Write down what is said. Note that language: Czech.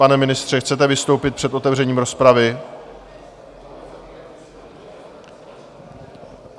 Pane ministře, chcete vystoupit před otevřením rozpravy?